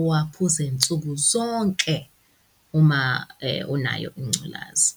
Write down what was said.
uwaphuze nsuku zonke uma, unayo ingculazi.